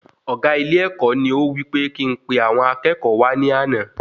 Ọgá ilé-èkó ní ó wí pe kí n pe àwọn akẹ́kọ̀ọ́ wa ní àna